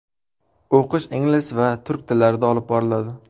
O‘qish ingliz va turk tillarida olib boriladi.